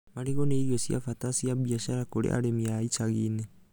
Marigũ nĩ ĩrio cia bata cia biacara kũrĩ arĩmi a icagi-inĩ